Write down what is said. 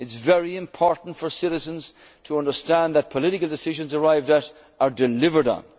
are seen to happen. It is very important for citizens to understand that political decisions arrived